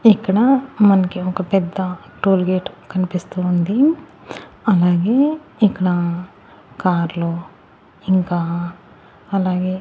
ఇక్కడ మనకి ఒక పెద్ద టోల్గేట్ కనిపిస్తూ ఉంది అలాగే ఇక్కడ కార్లు ఇంకా అలాగే--